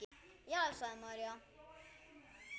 Jæja, sagði María.